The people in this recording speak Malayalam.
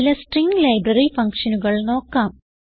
ചില സ്ട്രിംഗ് ലൈബ്രറി ഫങ്ഷനുകൾ നോക്കാം